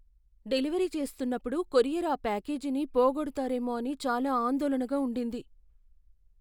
Delivery చేస్తున్నపుడు courier ఆ ప్యాకేజీని పోగొడతారేమో అని చాలా ఆందోళనగా ఉండింది.